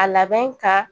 A labɛn ka